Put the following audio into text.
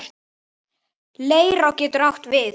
Leirá getur átt við